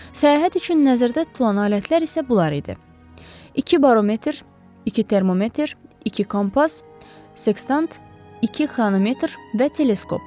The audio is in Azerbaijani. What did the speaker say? Səyahət üçün nəzərdə tutulan alətlər isə bunlar idi: İki barometr, iki termometr, iki kompas, seksant, iki xronometr və teleskop.